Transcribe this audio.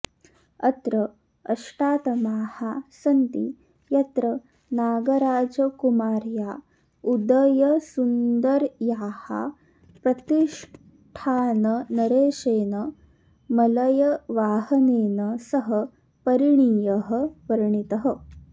अत्र अष्टातमाः सन्ति यत्र नागराजकुमार्या उदयसुन्दर्याः प्रतिष्ठाननरेशेन मलयवाहनेन सह परिणियः वर्णितः